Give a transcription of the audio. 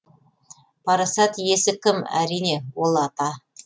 парасат иесі кім әрине ол ата